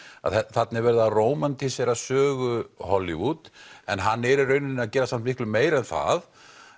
þarna er verið að sögu Hollywood en hann er í rauninni að gera samt miklu meira en það